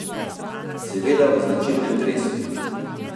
Seveda v značilnem dresu.